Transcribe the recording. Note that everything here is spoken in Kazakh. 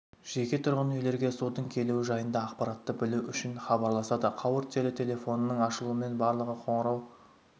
жеке-тұрғын үйлерге судың келуі жайында ақпаратты білу үшін хабарласады қауырт желі телефонының ашылуымен барлығы қоңырау